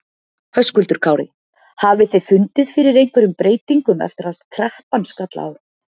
Höskuldur Kári: Hafið þið fundið fyrir einhverjum breytingum eftir að kreppan skall á?